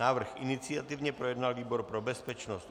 Návrh iniciativně projednal výbor pro bezpečnost.